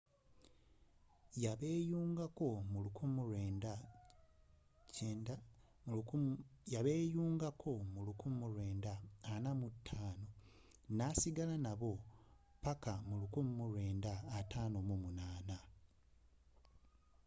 yabeeyungako mu 1945 and stayed until 1958